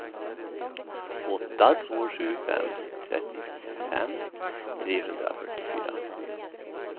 åtta två sju fem trettiofem trehundrafyrtiofyra